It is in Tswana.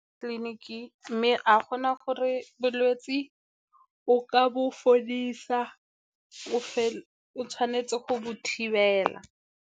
Tleliniki mme ga go na gore bolwetse o ka bo fodisa, o tshwanetse go bo thibela.